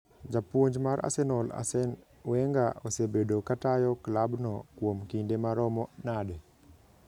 Japuonj mar Arsenal Arsene Wenger osebedo ka tayo klabno kuom kinde maromo nade?